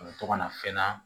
A bɛ to ka na fɛn na